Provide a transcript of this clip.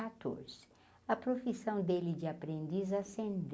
a profissão dele de aprendiz ascendeu.